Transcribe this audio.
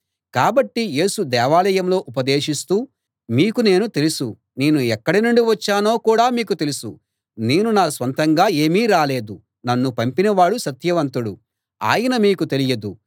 కాబట్టి యేసు దేవాలయంలో ఉపదేశిస్తూ మీకు నేను తెలుసు నేను ఎక్కడ నుండి వచ్చానో కూడా మీకు తెలుసు నేను నా స్వంతంగా ఏమీ రాలేదు నన్ను పంపినవాడు సత్యవంతుడు ఆయన మీకు తెలియదు